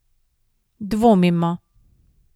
Dvomimo.